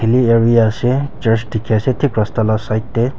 ase church dikhi ase thik rasta laga side te